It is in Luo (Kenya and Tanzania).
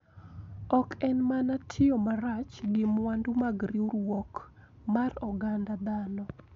Ok en mana tiyo marach gi mwandu mag riwruok mar oganda dhano,